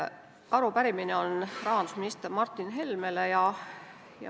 Arupärimine on rahandusminister Martin Helmele.